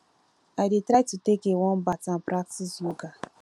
i dey try to take a warm bath and practice yoga